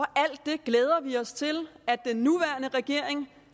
alt det glæder vi os til at den nuværende regering